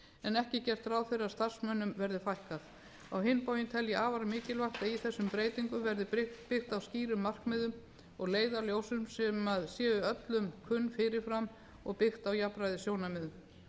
en ekki er gert ráð fyrir að starfsmönnum verði fækkað á hinn bóginn tel ég afar mikilvægt að í þessum breytingum verði byggt á skýrum markmiðum og leiðarljósum sem séu öllum kunn fyrirfram og byggð á jafnræðissjónarmiðum